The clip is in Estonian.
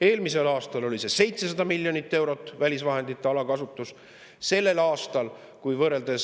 Eelmisel aastal oli see välisvahendite alakasutus 700 miljonit eurot.